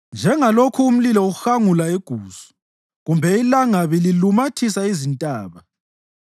Njengalokhu umlilo uhangula igusu kumbe ilangabi lilumathisa izintaba,